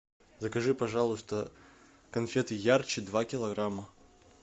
закажи пожалуйста конфеты ярче два килограмма